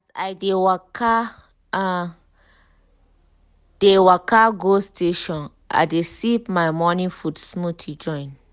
as i um dey waka um dey waka go station i dey sip my morning food smoothie join.